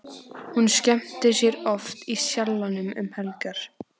Hún skemmtir sér oft í Sjallanum um helgar.